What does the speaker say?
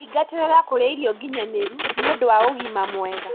Thingatĩrĩra kũrĩa irio nginyanĩru nĩũndũ wa ũgima mwega